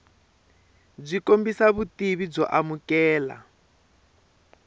byi kombisa vutivi byo amukeleka